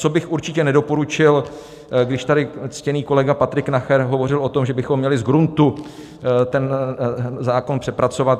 Co bych určitě nedoporučil, když tady ctěný kolega Patrik Nacher hovořil o tom, že bychom měli z gruntu ten zákon přepracovat.